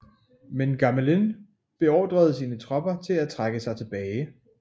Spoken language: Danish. Men Gamelin beordrede sine tropper til at trække sig tilbage